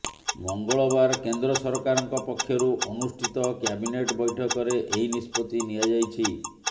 ମଙ୍ଗଳବାର କେନ୍ଦ୍ର ସରକାରଙ୍କ ପକ୍ଷରୁ ଅନୁଷ୍ଠିତ କ୍ୟାବିନେଟ୍ ବୈଠକରେ ଏହି ନିଷ୍ପତ୍ତି ନିଆଯାଇଛି